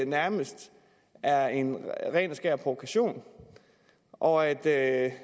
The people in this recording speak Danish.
nærmest er en ren og skær provokation og at at